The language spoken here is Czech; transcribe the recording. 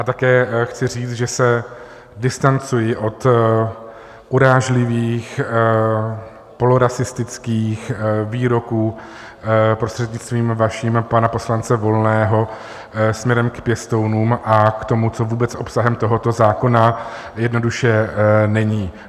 A také chci říct, že se distancuji od urážlivých polorasistických výroků, prostřednictvím vaším, pana poslance Volného směrem k pěstounům, a k tomu, co vůbec obsahem tohoto zákona jednoduše není.